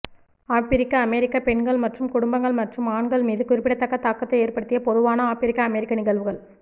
ஆபிரிக்க அமெரிக்க பெண்கள் மற்றும் குடும்பங்கள் மற்றும் ஆண்கள் மீது குறிப்பிடத்தக்க தாக்கத்தை ஏற்படுத்திய பொதுவான ஆப்பிரிக்க அமெரிக்க நிகழ்வுகள்